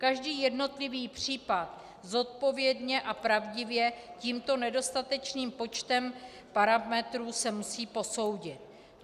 Každý jednotlivý případ zodpovědně a pravdivě tímto nedostatečným počtem parametrů se musí posoudit.